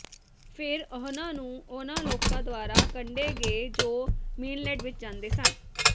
ਫਿਰ ਉਹਨਾਂ ਨੂੰ ਉਨ੍ਹਾਂ ਲੋਕਾਂ ਦੁਆਰਾ ਕੱਢੇ ਗਏ ਜੋ ਮੇਨਲਡ ਵਿੱਚ ਜਾਂਦੇ ਸਨ